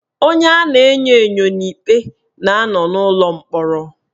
Onye a na-enyo enyo n'ikpe na anọ n'ulọ mkpọrọ